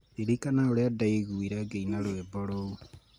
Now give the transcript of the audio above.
Ririkana ũrĩa ndaiguire ngĩina rwĩmbo rũu.